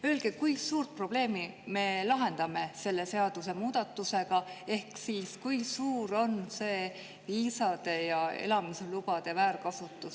Öelge, kui suurt probleemi me lahendame selle seadusemuudatusega, ehk siis, kui suur on see viisade ja elamislubade väärkasutus.